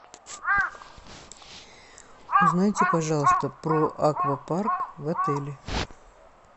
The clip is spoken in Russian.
узнайте пожалуйста про аквапарк в отеле